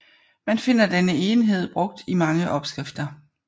Man finder denne enhed brugt i mange opskrifter